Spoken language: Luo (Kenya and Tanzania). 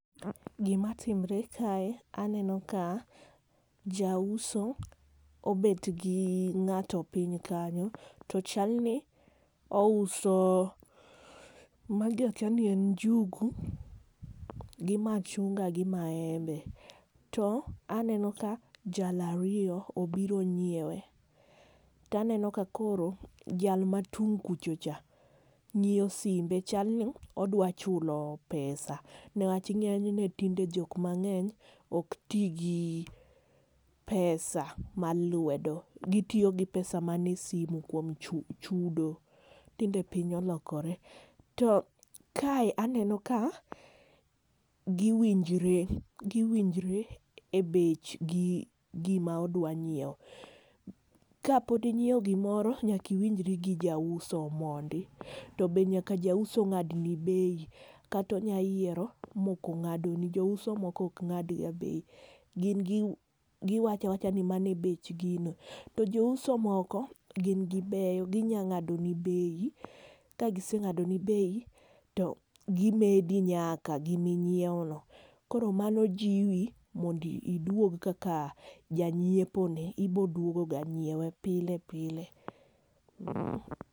Gima timore kae, aneno ka jauso obet gi ng'ato piny kanyo to chal ni ouso, magi akia ni en njugu, gi machunga gi maembe. To aneno ka jal ariyo obiro nyiewe. To aneno ka koro, jal matung' kucho cha ng'iyo simbe, chal ni odwa chulo pesa. Newach ing'eyo ni tinde jok mang'eng ok ti gi pesa mar lwedo. Gitiyo gi pesa manie simu, kuom chu chudo. Tinde piny olokore. To kae aneno ka, giwinjore. Giwinjore e bech gi, gima odwa nyiewo. Ka pok inyiewo gimore, nyaka iwinjori gi jauso mondi. To be nyaka jauso ng'ad ni bei. Kata onya yiero, ma ok ong'adoni. Jouso moko ok ng'ad ga bei. Gin gi, giwacho awacha ni mano e bech gino. To jouso moko gin gibeyo, ginyalo ng'ado ni bei. Kagiseng'ado ni bei, to gimedi nyaka gima inyiewo no. Koro mano jiwi mondo iduog kaka janyiepo ne. Iboduogo ga nyiewe pile pile.